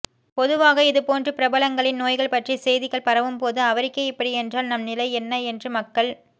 பொதுவாக இதுபோன்று பிரபலங்களின் நோய்கள் பற்றிய செய்திகள் பரவும்போது அவருக்கே இப்படி என்றால் நம் நிலை என்ன என்று மக்கள்